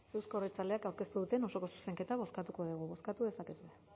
euzko abertzaleak aurkeztu duten osoko zuzenketa bozkatuko dugu